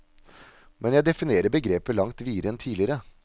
Men jeg definerer begrepet langt videre enn tidligere.